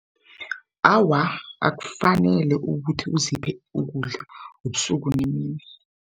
Awa akufanele ukuthi uziphe ukudla ebusuku nemini.